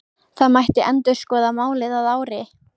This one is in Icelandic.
Það mætti endurskoða málið að ári.